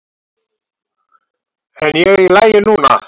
En ég er í lagi núna.